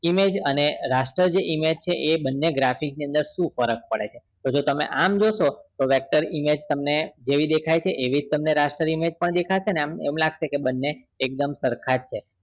Image અને raster image છે એ બને graphics ની અંદર શું ફરક પડે છે તમે આમ જોશો vector image જેવી દેખાય છે એવી જ raster image પણ દેખાશે આમ એમ લાગશે એકદમ સરખા છે